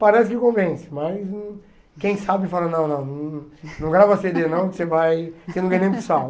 Parece que convence, mas quem sabe fala, não, não, não grava cê dê não, que você vai, você não ganha nem para o sal